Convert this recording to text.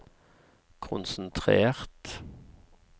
konsentrert